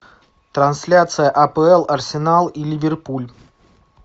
трансляция апл арсенал и ливерпуль